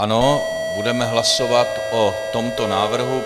Ano, budeme hlasovat o tomto návrhu.